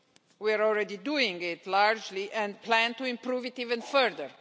We are already doing it largely and plan to improve it even further.